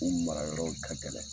U mara yɔrɔw ka gɛlɛn.